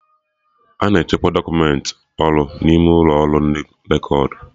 Ana echekwa dọkumentị ọrụ n'ime ụlọ ọrụ ndị rekọd